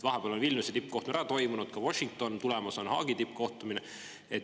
Vahepeal on Vilniuse tippkohtumine ära toimunud, samuti Washington, tulemas on Haagi tippkohtumine.